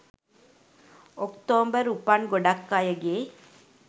ඔක්තෝම්බර් උපන් ගොඩක් අයගේ